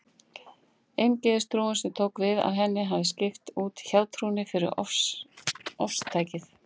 Eingyðistrúin, sem tók við af henni, hefði skipt út hjátrúnni fyrir ofstækið.